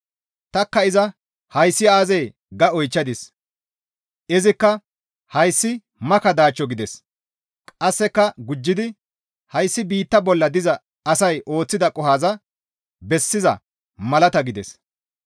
Tanikka iza, «Hayssi aazee?» ga oychchadis. Izikka «Hayssi maka daachcho» gides; qasseka gujjidi, «Hayssi biitta bolla diza asay ooththida qohoza bessiza malata» gides.